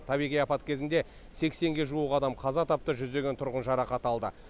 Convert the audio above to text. табиғи апат кезінде сексенге жуық адам қаза тапты жүздеген тұрғын жарақат алды